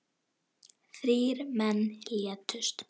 Þrír menn létust.